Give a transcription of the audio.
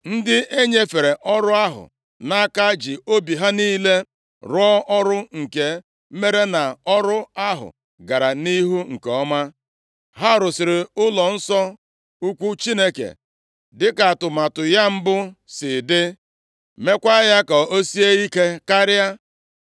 Ndị e nyefere ọrụ ahụ nʼaka ji obi ha niile rụọ ọrụ nke mere na ọrụ ahụ gara nʼihu nke ọma. Ha rụziri ụlọnsọ ukwu Chineke dịka atụmatụ ya mbụ si dị, meekwa ya ka o sie ike karịa.